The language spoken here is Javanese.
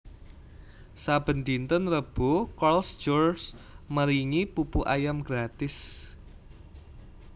saben dinten Rebo Carls Jr maringi pupu ayam gratis